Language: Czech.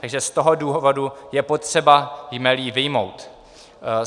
Takže z toho důvodu je potřeba jmelí vyjmout.